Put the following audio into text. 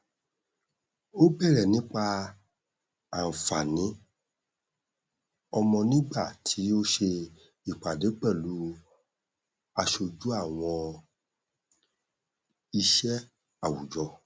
ó bèrè nípa ànfààní ọmọ nígbà tí ó ṣe ìpàdé pẹlú aṣojú àwọn iṣẹ àwùjọ